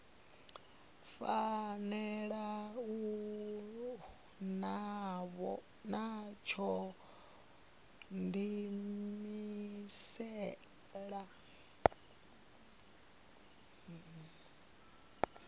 fanela u vha tsho diimisela